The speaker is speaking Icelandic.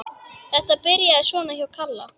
Þetta byrjaði svona hjá Kalla.